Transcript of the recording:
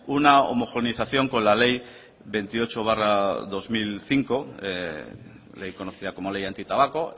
una homogenización con la ley veintiocho barra dos mil cinco ley conocida como ley antitabaco